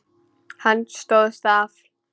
Hann stóðst það afl.